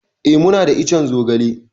Eh, muna da ican zogale.